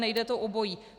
Nejde to obojí.